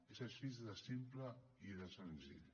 és així de simple i de senzill